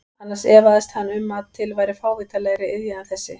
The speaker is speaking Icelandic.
Annars efaðist hann um að til væri fávitalegri iðja en þessi.